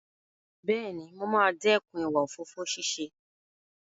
Bẹ́ẹ̀ni, mo máa dẹ́kun ìwà òfófó ṣíṣe.